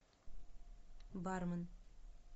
бармен